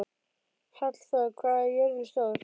Hallþór, hvað er jörðin stór?